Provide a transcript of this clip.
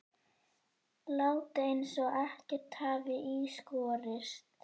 Láta eins og ekkert hafi í skorist.